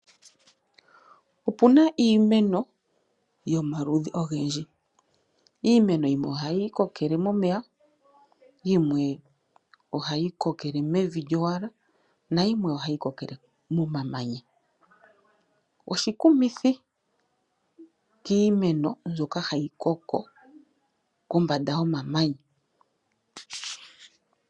Opu na iimeno yomaludhi ogendji. Iimeno yimwe ohayi kokele momeya, yimwe ohayi kokele mevi lyowala nayimwe ohayi kokele momamanya. Oshikumithi kiimeno mbyoka hayi koko kombanda yomamanya.